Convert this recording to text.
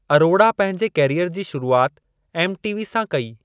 अरोड़ा पंहिंजे करियर जी शुरुआत एमटीवी सां कई।